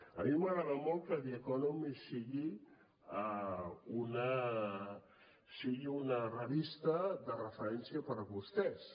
a mi m’agrada molt que the economist sigui una revista de referència per a vostès